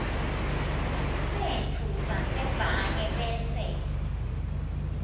setfu sasebhange bese